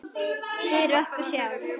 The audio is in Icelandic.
Fyrir okkur sjálf.